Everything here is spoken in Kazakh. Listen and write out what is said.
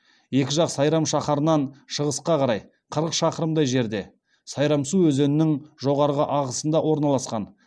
екі жақ сайрам шаһарынан шығысқа қарай қырық шақырымдай жерде сайрамсу өзенінің жоғарғы ағысында орналасқан